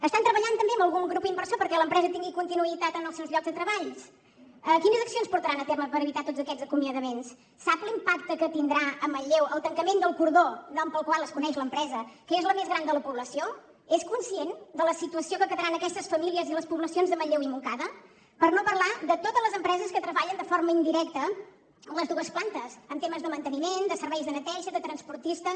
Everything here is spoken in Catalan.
estan treballant també amb algun grup inversor perquè l’empresa tingui continuïtat en els seus llocs de treball quines accions portaran a terme per evitar tots aquests acomiadaments sap l’impacte que tindrà a manlleu el tancament del cordó nom pel qual es coneix l’empresa que és la més gran de la població és conscient de la situació en què quedaran aquestes famílies i les poblacions de manlleu i montcada per no parlar de totes les empreses que treballen de forma indirecta amb les dues plantes en temes de manteniment de serveis de neteja de transportistes